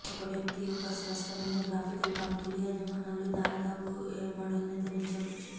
ఒక వ్యక్తి యొక్క స్పష్టమైన గ్రాఫికల్ పంక్తుల యజమానులు దాదాపు ఏ మోడల్ను ధరించవచ్చు